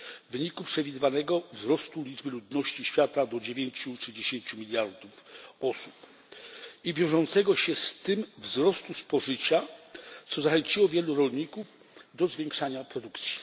w wyniku przewidywanego wzrostu liczby ludności świata do 9 czy 10 miliardów osób i wiążącego się z tym wzrostu spożycia, co zachęciło wielu rolników do zwiększania produkcji.